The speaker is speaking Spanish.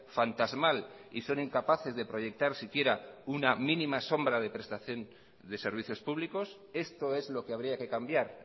fantasmal y son incapaces de proyectar siquiera una mínima sombra de prestación de servicios públicos esto es lo que habría que cambiar